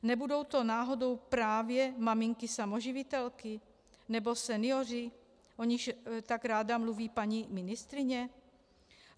Nebudou to náhodou právě maminky samoživitelky nebo senioři, o nichž tak ráda mluví paní ministryně?